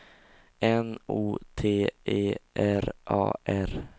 N O T E R A R